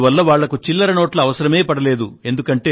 అందువల్ల వాళ్ళకి చిల్లర నోట్ల అవసరమే పడలేదు